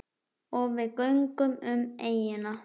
Og við göngum um eyjuna.